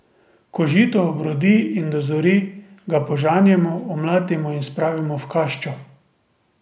Ko žito obrodi in dozori, ga požanjemo, omlatimo in spravimo v kaščo.